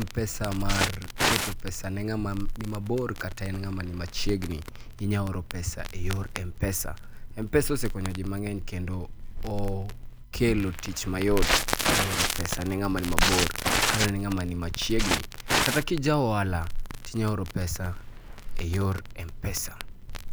M-Pesa mar keto pesa ne ng'ama ni mabor kata en ng'ama ni machiegni, inyalo oro pesa e yor M-Pesa. M-Pesa osekonyo ji mang'eny kendo okelo tich mayot e oro pesa ne ng'ama ni mabor kata ne ng'ama ni machiegni. Kata ka ja ohala, to inyalo oro pesa e yor M-Pesa.